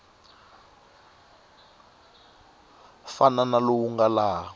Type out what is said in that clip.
fana na lowu nga laha